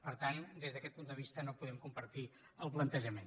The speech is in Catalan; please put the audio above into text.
per tant des d’aquest punt de vista no podem compartir ne el plantejament